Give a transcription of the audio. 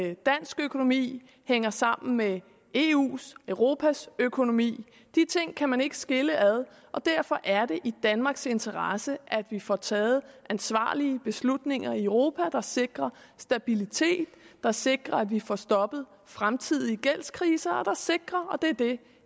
at dansk økonomi hænger sammen med eus europas økonomi de ting kan man ikke skille ad og derfor er det i danmarks interesse at vi får taget ansvarlige beslutninger i europa der sikrer stabilitet og sikrer at vi får stoppet fremtidige gældskriser og sikrer og det er det